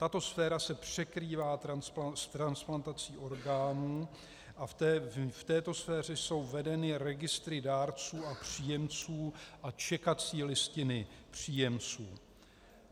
Tato sféra se překrývá s transplantací orgánů a v této sféře jsou vedeny registry dárců a příjemců a čekací listiny příjemců.